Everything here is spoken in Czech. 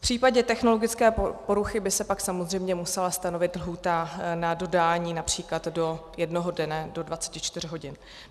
V případě technologické poruchy by se pak samozřejmě musela stanovit lhůta na dodání například do jednoho dne, do 24 hodin.